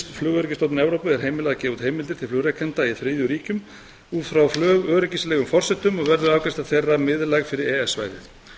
flugöryggisstofnun evrópu er heimilað að gefa út heimildir til flugrekanda í þriðju ríkjum út frá flugöryggisforsendum og verður afgreiðsla þeirra miðlæg fyrir e e s svæðið